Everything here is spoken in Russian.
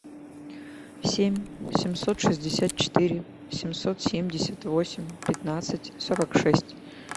семь семьсот шестьдесят четыре семьсот семьдесят восемь пятнадцать сорок шесть